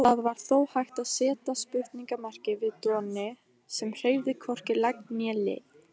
Það var þó hægt að seta spurningarmerki við Doni sem hreyfði hvorki legg né lið.